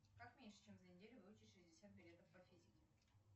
как меньше чем за неделю выучить шестьдесят билетов по физике